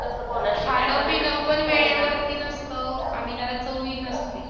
खाणं पिणं पण वेळेवरती नसतं. आणि त्याला चवही नसते.